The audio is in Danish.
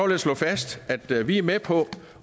jeg slå fast at vi er med på